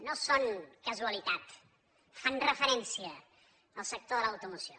no són casualitat fan referència al sector de l’automoció